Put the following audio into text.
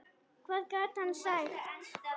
Hvað gat hann sagt?